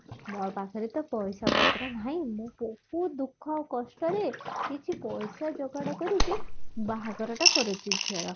ମୋ ପାଖରେ ତ ପଇସା ପତ୍ର ନାହିଁ ମୁଁ କଉ ଦୁଖ କଷ୍ଟରେ କିଛି ପଇସା ଯୋଗାଡ କରିଛି ବାହାଘରଟା କରୁଛି ଝିଅର